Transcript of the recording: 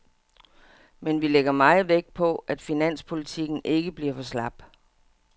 Men vi lægger meget vægt på, at finanspolitikken ikke bliver for slap.